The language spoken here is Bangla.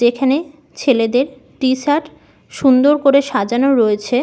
যেখানে ছেলেদের ট্রে শার্ট সুন্দর করে সাজানো রয়েছে।